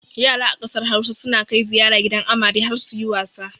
Yara a ƙasar Hausa suna kai ziyara gidan amare har suyi wasa.